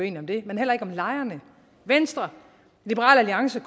enige om det men heller ikke om lejerne venstre liberal alliance